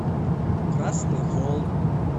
красный холм